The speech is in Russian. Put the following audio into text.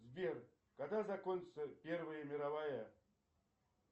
сбер когда закончится первая мировая